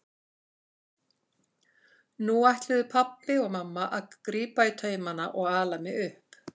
Nú ætluðu pabbi og mamma að grípa í taumana og ala mig upp.